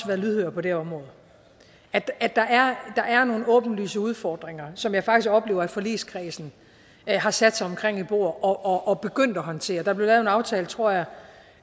været lydhør på det område at der er nogle åbenlyse udfordringer som jeg faktisk oplever at forligskredsen har sat sig omkring et bord og er begyndt at håndtere der blev lavet en aftale tror jeg